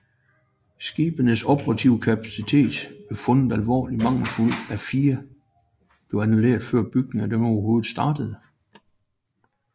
Skibenes operative kapaciteter blev fundet alvorligt mangelfulde at fire blev annulleret før bygningen af dem overhovedet startede